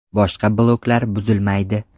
Boshqa bloklar buzilmaydi.